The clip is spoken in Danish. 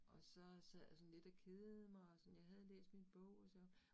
Og så sad jeg sådan lidt og kedede mig, og sådan jeg havde læst min bog sagde han